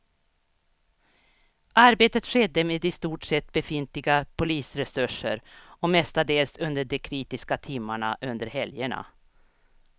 Arbetet skedde med i stort sett befintliga polisresurser och mestadels under de kritiska timmarna under helgerna.